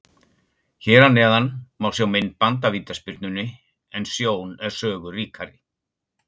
Hér að neðan má sjá myndband af vítaspyrnunni en sjón er sögu ríkari.